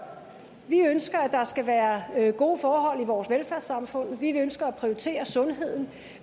vi ønsker at der skal være gode forhold i vores velfærdssamfund vi ønsker at prioritere sundheden